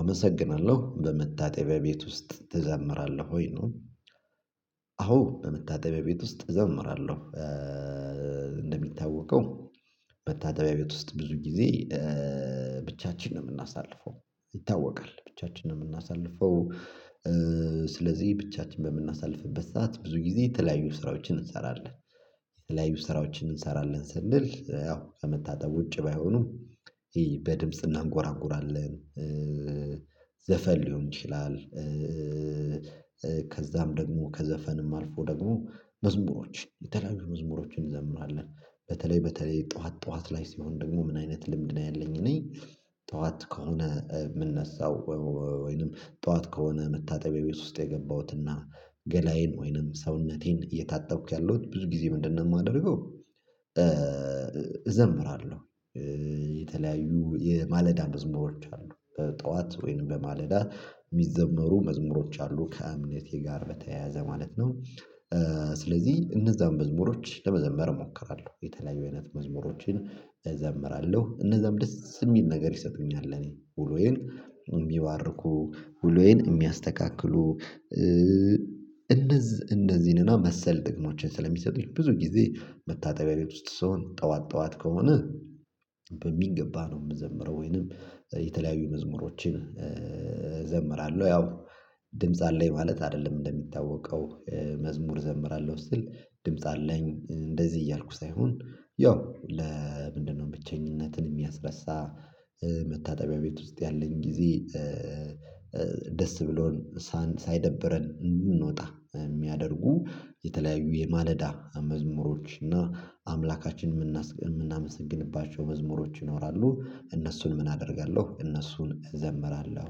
አመሰግናለሁ። በመታጠቢያ ቤት ውስጥ ትዘምራለህ ወይ? ነው። አዎ በመታጠቢያ ቤት ውስጥ እዘምራለሁ። እንደሚታወቀው መታጠቢያ ቤት ውስጥ ብዙ ጊዜ ብቻችን ነው የምናሳልፈው። ይታወቃል ብቻችን ነው የምናሳልፈው። ስለዚህ ብቻችን በምናሳልፍበት ሰዓት ብዙ ጊዜ የተለያዩ ስራዎችን እንሰራለን። የተለያዩ ስራዎችን እንሰራለን ስንል ያው ከመታጠብ ውጪ ባይሆኑም በድምጽ እናንጎራጉራለን፤ ዘፈን ሊሆን ይችላል ከዛም ደግሞ ከዘፈንም አልፎ ደግሞ መዝሙሮች የተለያዩ መዝሙሮችን እንዘምራለን። በተለይ በተለይ ጠዋት ጠዋት ላይ ሲሆን ደግሞ ምን አይነት ልምድ ነው ያለኝ እኔ ጠዋት ከሆነ የምነሳው ወይንም ጠዋት ከሆነ መታጠቢያ ቤት ውስጥ የገባሁትና ገላዬን ወይንም ሰውነቴን እየታጠብኩ ያለሁት ብዙ ጊዜ ምንድነው የማደርገው እዘምራለሁ የተለያዩ የማለዳ መዝሙሮች አሉ። ጠዋት ወይንም በማለዳ የሚዘመሩ መዝሙሮች አሉ ከእምነቴ ጋር በተያያዘ ማለት ነው ስለዚህ እነዛን መዝሙሮች ለመዘምር እሞክራለሁ። የተለያዩ አይነት መዝሙሮችን እዘምራለሁ። እነዛም ደስ የሚል ነገር ይሰጡኛል ለኔ ውሎዬን የሚባርኩ ውሎዬን የሚያስተካክሉ። እነዚህ እነዚህን መሰል ጥቅሞችን ስለሚሰጡኝ ብዙ ጊዜ መታጠቢያ ቤት ውስጥ ስሆን ጠዋት ጠዋት ከሆነ በሚገባ ነው የምዘምረው። ወይንም የተለያዩ መዝሙሮችን እዘምራለሁ ያው ድምጽ አለኝ ማለት አይደለም እንደሚታወቀው። መዝሙር እዘምራለሁ ስትል ድምጽ አለኝ እንደዚህ እያልኩ ሳይሆን ያው ለምንድነው ብቸኝነትን የሚያስረሳ መታጠቢያ ቤት ውስጥ ያለኝ ጊዜ ደስ ብሎን ሳይደብረን እንድንወጣ የሚያደርጉ የተለያዩ የማለዳ መዝሙሮች እና አምላካችንን የምናመሰግንባቸው መዝሙሮች ይኖራሉ። እነሱን ምን አደርጋለሁ እነሱን እዘምራለሁ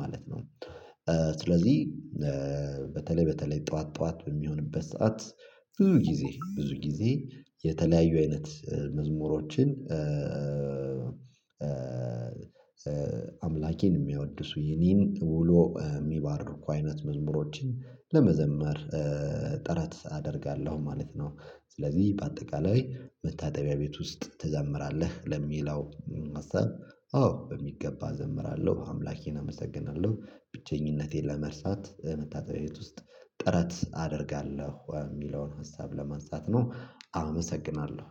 ማለት ነው። ስለዚህ በተለይ በተለይ ጠዋት ጠዋት በሚሆንበት ሰዓት ብዙ ጊዜ ብዙ ጊዜ የተለያዩ አይነት መዝሙሮችን አምላኬን የሚያወድ፤ የኔን ውሎ የሚባርኩ አይነት መዝሙሮችን ለመዘመር ጥረት አደርጋለሁ ማለት ነው። ስለዚህ በአጠቃላይ መታጠቢያ ቤት ውስጥ ትዘምራለ? ለሚለው ሀሳብ አዎ በሚገባ እዘምራለሁ፤ አምላኬን አመሰግናለሁ፤ ብቸኝነቴን ለመርሳት መታጠቢያ ቤት ውስጥ ጥረት አደርጋለሁ የሚለውን ሀሳብ ለማንሳት ነው። አመሰግናለሁ።